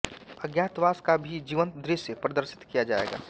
अज्ञातवास का भी जीवंत दृश्य प्रदर्शित किया जाएगा